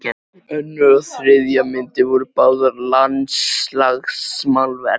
Önnur og þriðja myndin voru báðar landslagsmálverk.